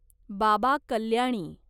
Baba Kalyani